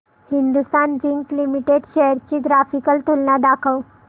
Hindustan zinc limited shares ची graphical तुलना दाखव